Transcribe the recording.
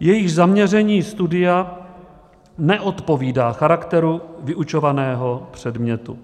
jejichž zaměření studia neodpovídá charakteru vyučovaného předmětu."